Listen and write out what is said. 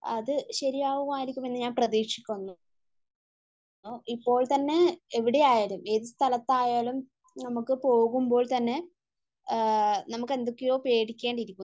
അത് ശരിയാവുമായിരുക്കുമെന്ന് ഞാൻ പ്രതീക്ഷിക്കുന്നു. ഇപ്പോൾ തന്നെ എവിടെയായാലും ഏത് സ്ഥലത്തായാലും നമുക്ക്പോകുമ്പോൾ തന്നെ നമുക്ക് എന്തൊക്കെയോ പേടിക്കേണ്ടിയിരിക്കുന്നു